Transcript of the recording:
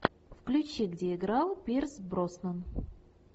включи где играл пирс броснан